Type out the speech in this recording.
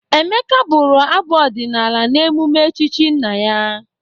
Emeka bụrụ abụ ọdịnala n'eụme echchi nna ya.